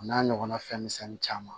O n'a ɲɔgɔnna fɛn misɛnnin caman